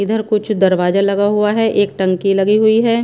इधर कुछ दरवाजा लगा हुआ हैं एक टंकी लगी हुई हैं।